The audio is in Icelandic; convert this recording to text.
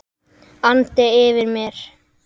andi yfir mér.